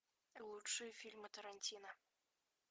лучшие фильмы тарантино